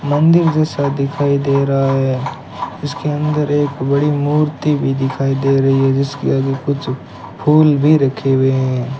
मंदिर जैसा दिखाई दे रहा है जिसके अंदर एक बड़ी मूर्ति भी दिखाई दे रही है जिसके आगे कुछ फूल भी रखे हुए हैं।